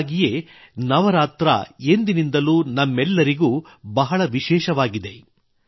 ಹೀಗಾಗಿಯೇ ನವರಾತ್ರಿಯು ಎಂದಿನಿಂದಲೂ ನಮ್ಮೆಲ್ಲರಿಗೂ ಬಹಳ ವಿಶೇಷವಾಗಿದೆ